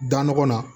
Da nɔgɔ la